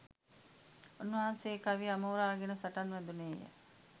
උන්වහන්සේ කවිය අමෝරාගෙන සටන් වැදුණේ ය.